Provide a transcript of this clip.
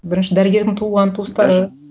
бірінші дәрігердің туған туыстары даже